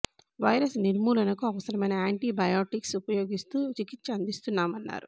virus నిర్మూలనకు అవసరమైన antibiotics ఉపయోగిస్తూ చికిత్స అందిస్తున్నామన్నారు